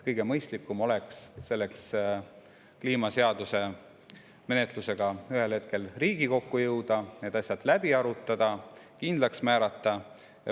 Kõige mõistlikum oleks selleks kliimaseaduse menetlusega ühel hetkel Riigikokku jõuda, need asjad läbi arutada ja kindlaks määrata.